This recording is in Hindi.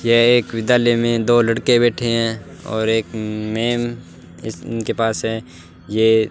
यह एक विद्यालय में दो लड़के बैठे हैं और एक मैम उनके पास है ये --